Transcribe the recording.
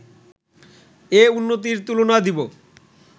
এ উন্নতির তুলনা দিব